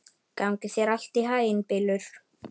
Gangi þér allt í haginn, Bylur.